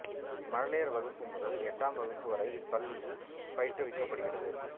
மழலையர் வகுப்பு முதல் எட்டாம் வகுப்பு வரை இப்பள்ளியில் பயிற்றுவிக்கப்படுகிறது